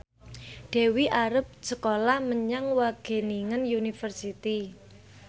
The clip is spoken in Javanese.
Dewi arep sekolah menyang Wageningen University